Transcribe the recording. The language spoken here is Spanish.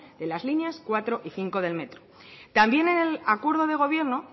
de las líneas cuatro y cinco del metro también en el acuerdo de gobierno